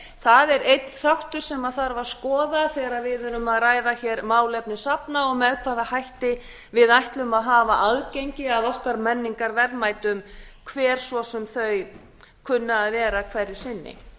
það er einn þáttur se þarf að skoða þegar við erum að ræða málefni safna og með hvaða hætti við ætlum að hafa aðgengi að okkar menningarverðmætum hver svo sem þau kunna að vera hverju sinni við